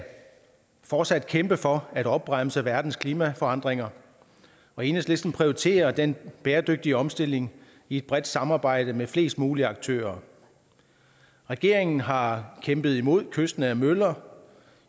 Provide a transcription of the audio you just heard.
fortsat kæmpe for at opbremse verdens klimaforandringer og enhedslisten prioriterer den bæredygtige omstilling i et bredt samarbejde med flest muligt aktører regeringen har kæmpet imod kystnære møller